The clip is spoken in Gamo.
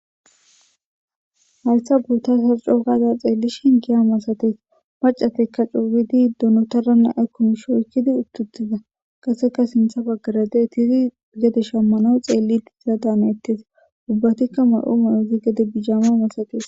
Haysan ta beishin hiya masates maccatika co gidi Donotara Oyki uttida Qaseka sinthan bagara diyayti Oyki uttida Gede shamanaw xelletes Ubatika ma'o mayidi bijama masates